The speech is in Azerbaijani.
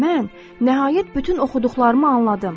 Mən nəhayət bütün oxuduqlarımı anladım.